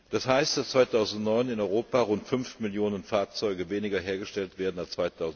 Das heißt, dass 2009 in Europa rund 5 Millionen Fahrzeuge weniger hergestellt werden als